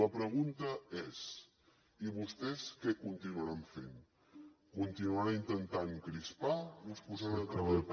la pregunta és i vostès què continuaran fent continuaran intentant crispar o es posaran a treballar